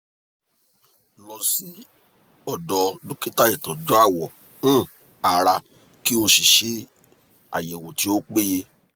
lo si odo dokita itoju awo um ara ki o se ayewo ti o peye